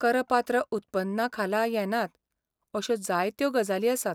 करपात्र उत्पन्ना खाला येनात अशो जायत्यो गजाली आसात.